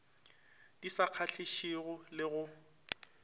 di sa kgahlišego le go